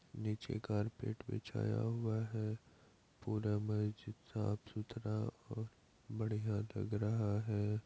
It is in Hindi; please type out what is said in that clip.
नीचे कारपेट बिछाया हुआ है पूरा मेज साफ-सुथरा और बढ़िया लग रहा है ।